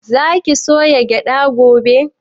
Za ki soya gyaɗa gobe?